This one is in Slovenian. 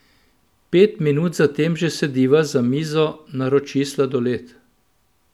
Pet minut za tem že sediva za mizo, naroči sladoled.